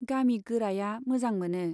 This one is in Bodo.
गामि गोराया मोजां मोनो।